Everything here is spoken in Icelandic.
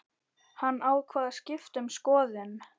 Hann ákvað að skipta um skoðun.